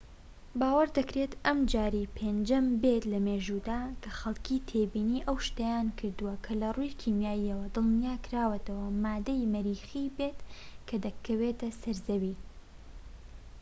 باوەڕ دەکرێت ئەمە جاری پێنجەم بێت لە مێژوودا کە خەڵکی تێبینی ئەو شتەیان کردووە کە لە ڕووی کیماییەوە دڵنیاكراوەتەوە ماددەی مەریخی بێت کە دەکەوێتە سەر زەوی